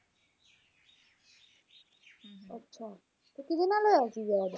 ਅੱਛਾ ਤੇ ਕਿਹੜੇ ਨਾਲ ਹੋਇਆ ਸੀ ਵਿਆਹ ਓਹਦਾ